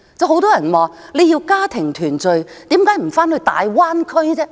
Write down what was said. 很多人說，要家庭團聚為何不回大灣區？